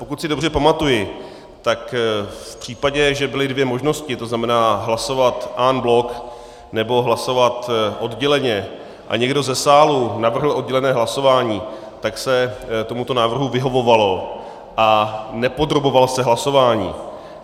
Pokud si dobře pamatuji, tak v případě, že byly dvě možnosti, to znamená hlasovat en bloc nebo hlasovat odděleně, a někdo ze sálu navrhl oddělené hlasování, tak se tomuto návrhu vyhovovalo a nepodroboval se hlasování.